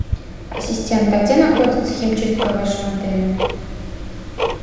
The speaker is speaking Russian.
ассистент а где находится химчистка в вашем отеле